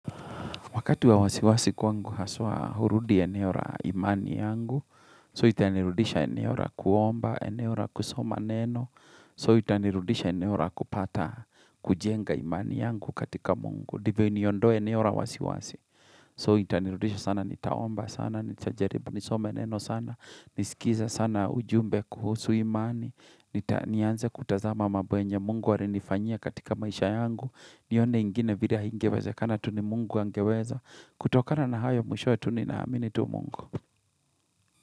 Wakati ya wasiwasi kwangu haswa hurudi eneo ra imani yangu. So itanirudisha eneo ra kuomba, eneo ra kusoma neno. So itanirudisha eneora kupata, kujenga imani yangu katika mungu. Ndivyo niondoe eneora wasiwasi. So itanirudisha sana, nitaomba sana, nitajaribu, nisome neno sana. Nisikiza sana ujumbe kuhusu imani. Nianze kutazama mambo ambayo yenye mungu alinifanyia katika maisha yangu. Nione ingine vila haingeweze kana tu ni mungu angeweza. Kutokana na hayo mwishowe ninaamini tu mungu.